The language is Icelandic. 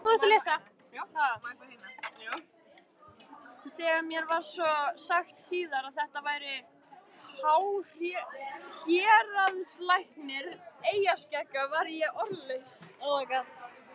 Þegar mér var svo sagt síðar að þetta væri héraðslæknir eyjaskeggja varð ég orðlaus.